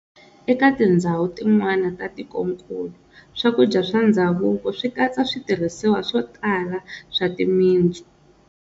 Eka tindzhawu tin'wana ta tikonkulu, swakudya swa ndzhavuko swikatsa switirhisiwa swotala swa timintsu.